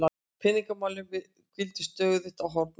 Peningamálin hvíla stöðugt á honum.